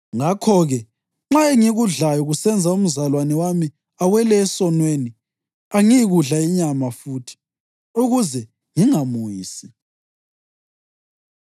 Ngakho-ke, nxa engikudlayo kusenza umzalwane wami awele esonweni, angiyikudla inyama futhi, ukuze ngingamwisi.